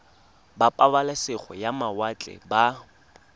ba pabalesego ya mawatle ba